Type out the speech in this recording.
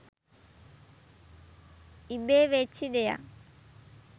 ඉබේ වෙච්චි දෙයක්..